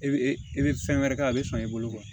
I bɛ i bɛ fɛn wɛrɛ kɛ a bɛ san i bolo